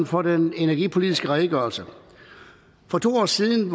for den energipolitiske redegørelse for to år siden